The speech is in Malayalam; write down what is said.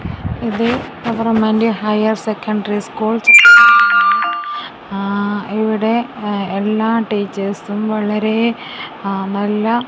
ഇത് ഗവർമെൻറ് ഹയർസെക്കൻഡറി സ്കൂൾ ആഹ് ഇവിടെ എല്ലാ ടീച്ചേഴ്സും വളരെ നല്ല--